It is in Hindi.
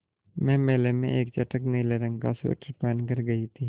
मैं मेले में एक चटख नीले रंग का स्वेटर पहन कर गयी थी